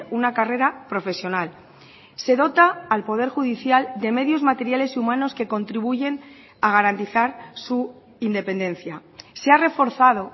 una carrera profesional se dota al poder judicial de medios materiales y humanos que contribuyen a garantizar su independencia se ha reforzado